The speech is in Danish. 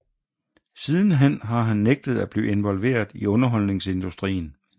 Sidenhen har han nægtet at blive involveret i underholdningsindustrien